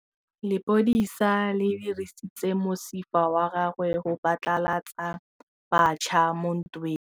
Lepodisa le dirisitse mosifa wa gagwe go phatlalatsa batšha mo ntweng.